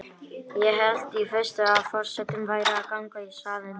Ég hélt í fyrstu að forsetinn væri að ganga í salinn.